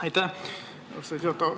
Aitäh, austatud juhataja!